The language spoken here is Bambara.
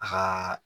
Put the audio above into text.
A ka